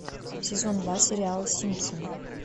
сезон два сериала симпсоны